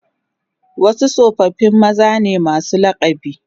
Wasu tsofaffi maza ne masu lakabi